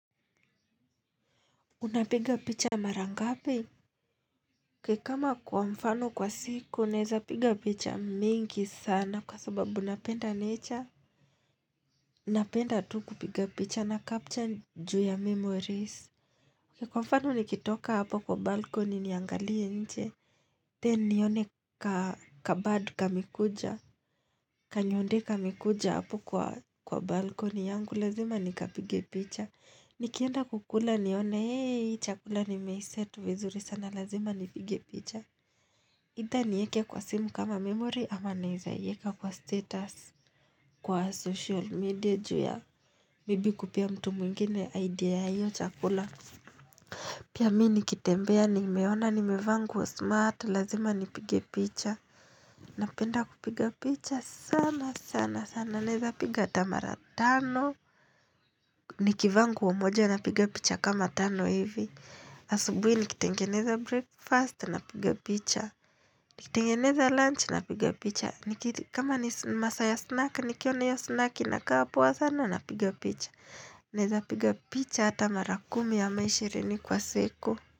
Unapiga picha mara ngapi? Kama kwa mfano kwa siku, naeza piga picha mingi sana kwa sababu napenda nature. Napenda tu kupiga picha na capture juu ya memories. Kwa mfano nikitoka hapo kwa balkoni niangalie nje. Then nione kabad kamekuja, kanyonde kamekuja hapo kwa balkoni yangu, lazima nikapige picha. Nikienda kukula nione hei chakula nimeiset vizuri sana lazima nipige picha aitha ni eke kwa simu kama memory ama naeza ieka kwa status Kwa social media ju ya maybe kupea mtu mwingine idea ya hiyo chakula Pia mi nikitembea nimeona nimevaa nguo smart lazima nipige picha Napenda kupiga picha sana sana sana naeza piga ata mara tano Nikivaa nguo moja napiga picha kama tano hivi Asubui nikitengeneza breakfast napiga picha Nikitengeneza lunch napiga picha niki kama ni masaa ya snack nikiona io snack inakaa poa sana napiga picha Naeza piga picha hata mara kumi ama ishirini kwa siku.